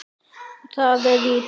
Ég er fullur af þér.